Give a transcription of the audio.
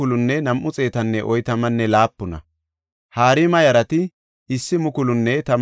Libana yarata, Hagaba yarata, Samala yarata,